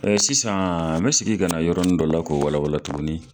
E sisan n bɛ segin ka na yɔrɔnin dɔ la k'o walawala tugunni.